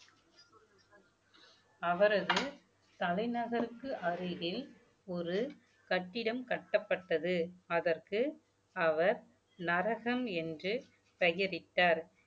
அவரது தலைநகருக்கு அருகில் ஒரு கட்டிடம் கட்டப்பட்டது அதற்கு அவர் நரகன் என்று பெயரிட்டார்